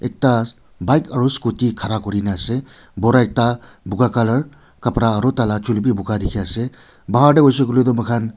ekta bike aru scooty khara kuri ne ase bura ekta buga colour kapara aru tai la chuli bi buga dikhi ase bahar te hoi shey koi le toh moi khan.